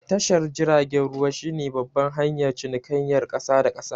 Tashar jiragen ruwa shi ne babban hanyar cinikayar ƙasa da ƙasa